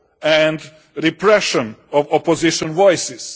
and repression of opposition voices.